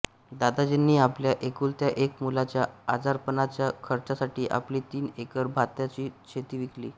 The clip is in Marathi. दादाजींनी आपल्या एकुलत्या एक मुलाच्या आजारपणाच्या खर्चासाठी आपली तीन एकर भाताची शेती विकली